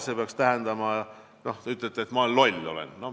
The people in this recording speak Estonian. See peaks tähendama, et te ütlete: ma olen loll.